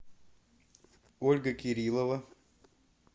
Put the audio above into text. ольга кириллова